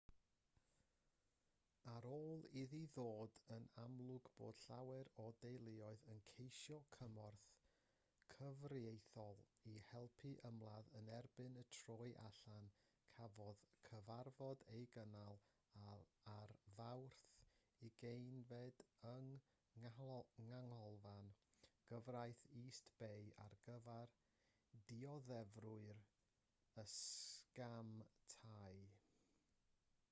ar ôl iddi ddod yn amlwg bod llawer o deuluoedd yn ceisio cymorth cyfreithiol i helpu ymladd yn erbyn y troi allan cafodd cyfarfod ei gynnal ar fawrth 20 yng nghanolfan gyfraith east bay ar gyfer dioddefwyr y sgam tai